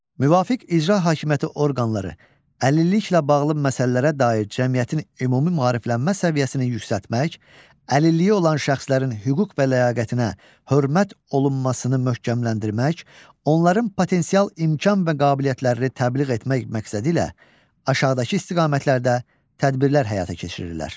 Müvafiq icra hakimiyyəti orqanları əlilliklə bağlı məsələlərə dair cəmiyyətin ümumi maariflənmə səviyyəsinin yüksəltmək, əlilliyi olan şəxslərin hüquq və ləyaqətinə hörmət olunmasını möhkəmləndirmək, onların potensial imkan və qabiliyyətlərini təbliğ etmək məqsədilə aşağıdakı istiqamətlərdə tədbirlər həyata keçirirlər.